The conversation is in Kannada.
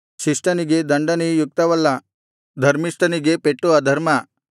ಶಿಷ್ಟನಿಗೆ ದಂಡನೆ ಯುಕ್ತವಲ್ಲ ಧರ್ಮಿಷ್ಠನಿಗೆ ಪೆಟ್ಟು ಅಧರ್ಮ